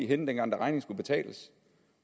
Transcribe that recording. henne dengang regningen skulle betales